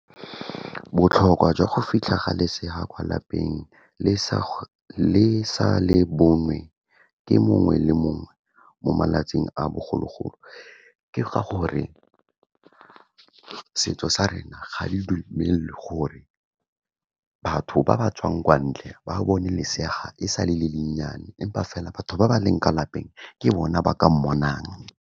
Botlhokwa jwa go fitlha ga lesea kwa lapeng le sa le bonwe ke mongwe le mongwe mo malatsing a bogologolo. Ke ga gore setso sa rena ga re dumelwe gore batho ba ba tswang kwa ntle ba bone lesea ga e sa le, le le nnyane. Empa fela batho ba ba leng ka lapeng ke bona ba ka mmona.